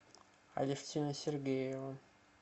алевтина сергеева